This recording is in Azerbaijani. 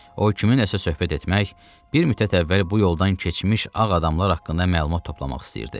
O kiminləsə söhbət etmək, bir müddət əvvəl bu yoldan keçmiş ağ adamlar haqqında məlumat toplamaq istəyirdi.